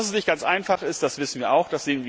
Dass das nicht ganz einfach ist, wissen wir auch.